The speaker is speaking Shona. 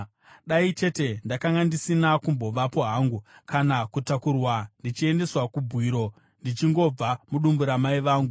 Dai chete ndakanga ndisina kumbovapo hangu, kana kuti ndakatakurwa ndichiendeswa kubwiro ndichangobva mudumbu ramai vangu!